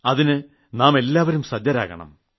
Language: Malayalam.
അതിന് നാം എല്ലാവരും സജ്ജരാകണം